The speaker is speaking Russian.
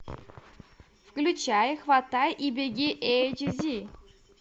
включай хватай и беги эйч ди